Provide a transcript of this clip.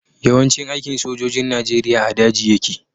Yawan cin aikin sojojin nigeria a daji yake